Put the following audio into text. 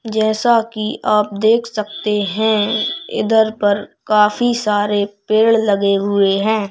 जैसा कि आप देख सकते हैं इधर पर काफी सारे पेड़ लगे हुए हैं।